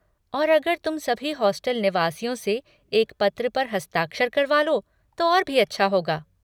और अगर तुम सभी हॉस्टल निवासियों से एक पत्र पर हस्ताक्षर करवा लो तो और भी अच्छा होगा।